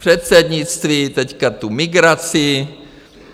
Předsednictví, teď tu migraci.